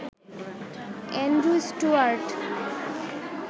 Andrew Stuart